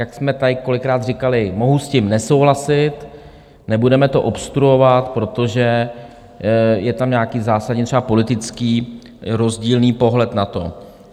Jak jsme tady kolikrát říkali, mohu s tím nesouhlasit, nebudeme to obstruovat, protože je tam nějaký zásadní třeba politický rozdílný pohled na to.